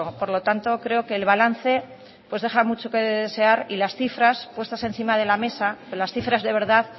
por lo tanto creo que el balance deja mucho que desear y las cifras puestas encima de la mesa las cifras de verdad